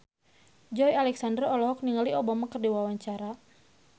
Joey Alexander olohok ningali Obama keur diwawancara